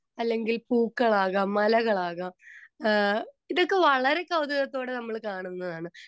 speaker 2 അല്ലങ്കിൽ പൂക്കളാകാം മലകളാകാം അഹ് ഇതൊക്കെ വളരെ കൗതുകത്തോടെ നമ്മള് കാണുന്നതാണ്